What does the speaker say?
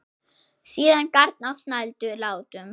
Síðan garn á snældu látum.